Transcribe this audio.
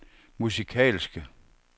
musikalske